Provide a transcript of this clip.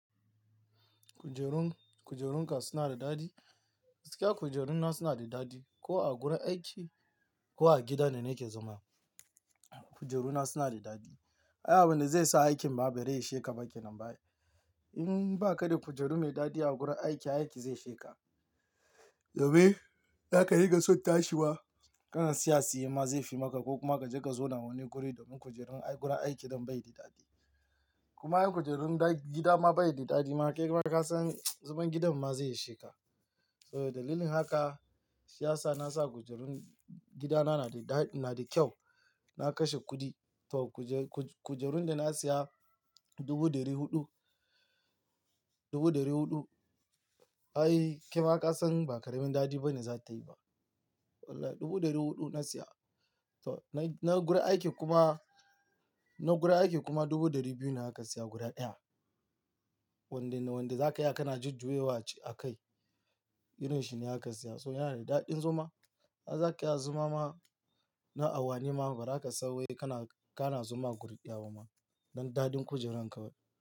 Kujerun, kujerun ka suna da dadi? Sika kujerun na suna da dadi. Ko a gurin aiki ko a gida ne nake zama, kujerun na suna da dadi. Ay abinda zai sa aikin bare isheka bake nan ba ai. In ba ka da kujeru mai dadi a gurin aiki, ai aiki zai sheka. Gobe, baka riga son tashi wa. Kana tsaya a tsaye ma zai fi maka ko kuma ka je ka zo nan wani guri domin kujerun a gurin aiki don bai yi da dadi. Kuma in kujerun da gida ma bai yi daɗi ma, kai ma ka san zaman gidan ma zai isheka. So dalilin haka siyasa na sa kujerun gidana na daɗ, na da kyau. Na kashe kuɗi. To kujerun da na siya dubu ɗari huɗu, dubu ɗari huɗu. Ai kai ma ka san ba karamin daɗi ba ne za tayi ba. Wallahi dubu ɗari huɗu na siya. To na guri aiki kuma, na guri aiki kuma dubu ɗari biyu na aka siya guri ɗaya. Wanda ne wanda za ka iya kana jujjuyewa ce a kai. Irin shi ne aka siya. So yana da daɗin zama. Ai za ki iya zama ma na awanni ma, bazaka son wai kana, kana zama guri ɗaya ba ma. Don daɗin kujerun kawai.